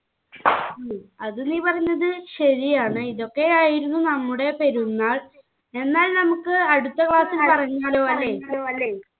അത് നീ പറഞ്ഞത് ശരിയാണ് ഇതൊക്കെയായിരുന്നു നമ്മുടെ പെരുന്നാൾ എന്നാൽ നമുക്ക് അടുത്ത പ്രാവിശ്യം അല്ലെ